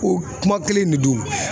O kuma kelen in de do.